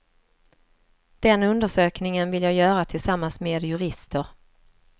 Den undersökningen vill jag göra tillsammans med jurister.